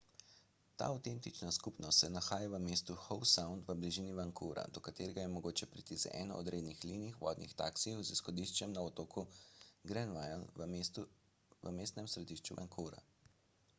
ta avtentična skupnost se nahaja v mestu howe sound v bližini vancouvra do katerega je mogoče priti z eno od rednih linij vodnih taksijev z izhodiščem na otoku granville v mestnem središču vancouvra